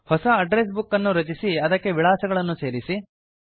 ಹೊಸ address book ಅನ್ನು ರಚಿಸಿ ಅದಕ್ಕೆ ವಿಳಾಸಗಳನ್ನು ಸೇರಿಸಿ